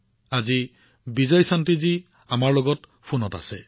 আজি বিজয়শান্তিজী আমাৰ লগত ফোনত আছে